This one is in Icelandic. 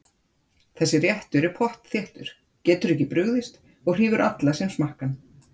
Þessi réttur er pottþéttur, getur ekki brugðist og hrífur alla sem smakka hann.